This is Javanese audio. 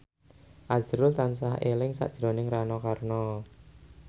azrul tansah eling sakjroning Rano Karno